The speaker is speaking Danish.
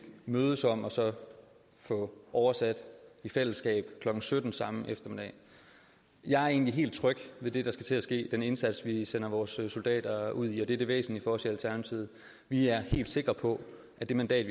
mødes om og få oversat i fællesskab klokken sytten samme eftermiddag jeg er egentlig helt tryg ved det der skal til at ske den indsats vi sender vores soldater ud i og det er det væsentlige for os i alternativet vi er helt sikre på at det mandat